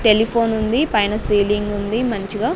Telephone ఉంది పైన ceiling ఉంది మంచిగా.